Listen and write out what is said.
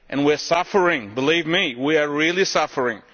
We are suffering, believe me, we are really suffering!